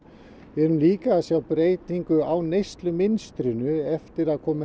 við erum líka að sjá breytingu á neyslumynstrinu eftir að það komu